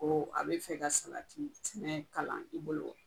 Ko a bɛ fɛ ka salati sɛnɛ kalan i bolo.